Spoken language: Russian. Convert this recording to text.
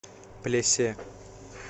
плесе